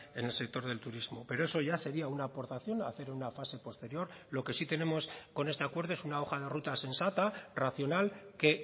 en el sector del turismo pero eso ya sería una aportación hacer una fase posterior lo que sí tenemos con este acuerdo es una hoja de ruta sensata racional que